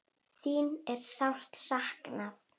Þín er sárt saknað.